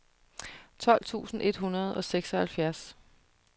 tolv tusind et hundrede og seksoghalvfjerds